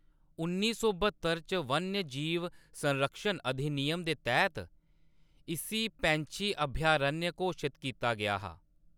उन्नी सौ ब्हत्तर च वन्यजीव संरक्षण अधिनियम दे तैह्‌‌‌त इस्सी पैंछी अभयारण्य घोशत कीता गेआ हा।